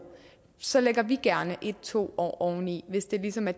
så lægger vi gerne en to år oveni hvis det ligesom er